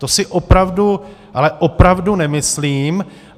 To si opravdu, ale opravdu nemyslím.